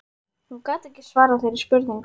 Hún gat ekki svarað þeirri spurningu.